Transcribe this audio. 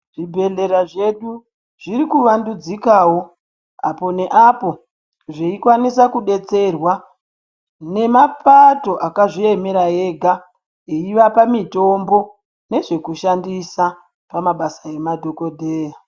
Zvibhedhlera zvedu zviri kuvandudzikawo apo neapo zveikwanisa kudetserwa nemapato akazviemera ega eyivapa mitombo nezvekushandisa pamabasa emadhokodheya.